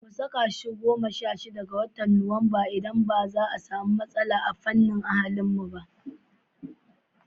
Mu saka shi goma sha shida ga watan Satumba, idan zai zama ba matasa ta fannin ahlinmu.